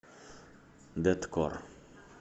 дэткор